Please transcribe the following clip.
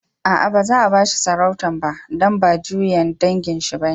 Aa, ba za'a ba shi sarautan ba, dan ba juyan dangin shi ba.